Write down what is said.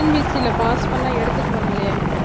TNPSC ல pass பண்ணா எடுத்துக்குவாங்களே